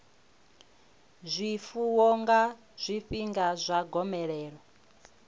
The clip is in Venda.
zwifuwo nga zwifhinga zwa gomelelo